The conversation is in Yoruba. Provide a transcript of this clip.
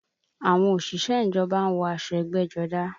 Àwọn òṣìṣẹ́ ìjọba ń wọ aṣọ ẹgbẹ́jọdá